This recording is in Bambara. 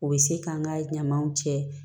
U bɛ se k'an ka ɲamaw cɛ